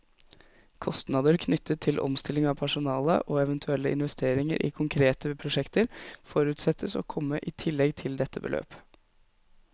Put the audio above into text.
Kostnader knyttet til omstilling av personale, og eventuelle investeringer i konkrete prosjekter, forutsettes å komme i tillegg til dette beløp.